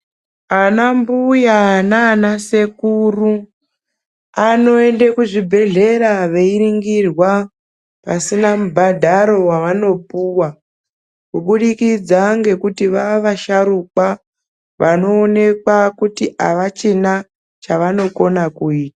Ana mbuya naana sekuru anoende kuzvibhedhlera veiningirwa pasina mubhadharo wavanopuwa kubudikidza ngekuti vavasharukwa vanoonekwa kuti avachina chavachakone kuita.